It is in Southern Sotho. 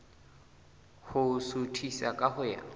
ho suthisa ka ho ya